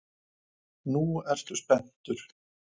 Nú ertu spenntur.